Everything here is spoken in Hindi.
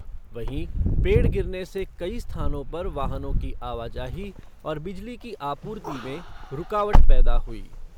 वहीं पेड़ गिरने से कई स्थानों पर वाहनों की आवाजाही और बिजली की आपूर्ति में रूकावट पैदा हुई।